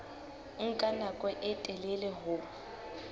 nka nako e telele ho